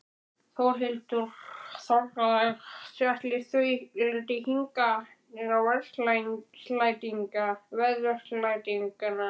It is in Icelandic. Þórhildur Þorkelsdóttir: Ætli þau leiti hingað í veðursældina?